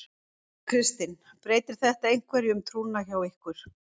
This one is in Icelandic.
Kristinn: Breytir þetta einhverju um trúna hjá ykkur?